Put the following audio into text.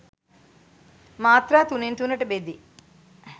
මාත්‍රා තුනෙන් තුනට බෙදේ.